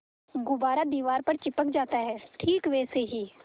गुब्बारा दीवार पर चिपक जाता है ठीक वैसे ही